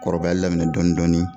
Kɔrɔbayali daminɛ dɔɔnin dɔɔnin.